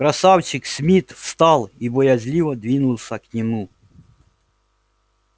красавчик смит встал и боязливо двинулся к нему